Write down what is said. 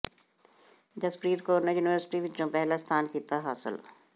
ਜਸਪ੍ਰੀਤ ਕੌਰ ਨੇ ਯੂਨੀਵਰਸਿਟੀ ਵਿਚੋਂ ਪਹਿਲਾ ਸਥਾਨ ਕੀਤਾ ਹਾਸਲ